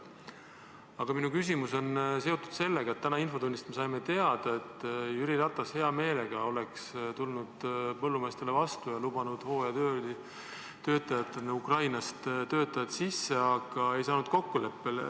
Aga minu küsimus on seotud sellega, et täna infotunnis me saime teada, et Jüri Ratas oleks hea meelega tulnud põllumeestele vastu ja lubanud hooajatöötajatena Ukrainast töötajad sisse, aga ei saanud kokkuleppele.